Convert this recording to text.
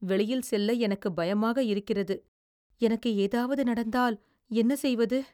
வெளியில் செல்ல எனக்கு பயமாக இருக்கிறது. எனக்கு ஏதாவது நடந்தால் என்ன செய்வது?